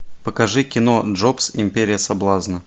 покажи кино джобс империя соблазна